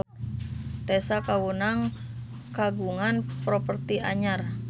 Tessa Kaunang kagungan properti anyar